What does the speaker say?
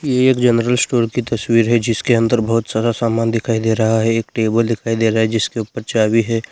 ये एक general store की तस्वीर है जिसके अंदर बहुत सारा सामान दिखाई दे रहा है एक टेबल दिखाई दे रहा है जिसके ऊपर चाभी है।